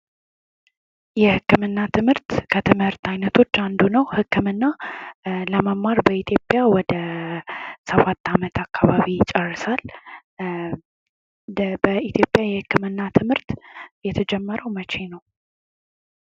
የህክምና ትምህርት ከትምህርት አይነቶች አንዱ ነው። ህክምና ለመማር በኢትዮጵያ ወደ ሰባት ዓመት አካባቢ ይጨርሳል። በኢትዮጵያ የህክምና ትምህርት የተጀመረው መቼ ነው?